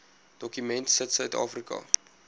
dokument sit suidafrika